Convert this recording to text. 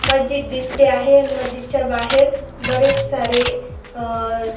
मस्जिद दिसते आहे मस्जिदच्या बाहेर बरेच सारे अ --